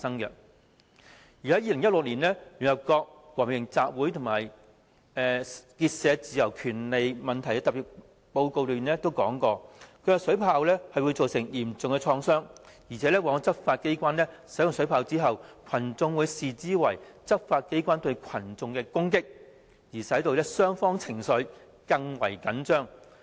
在2016年，聯合國和平集會與結社自由權利問題特別報告指出，水炮會造成嚴重創傷，執法機關在使用水炮後，群眾往往會視之為執法機關對群眾的攻擊，使雙方情緒更為緊張。